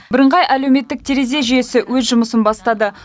бірыңғай әлеуметтік терезе жүйесі өз жұмысын бастады